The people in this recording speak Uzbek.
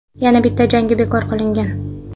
Yana bitta jangi bekor qilingan.